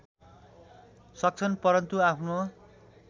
सक्छन् परन्तु आफ्नो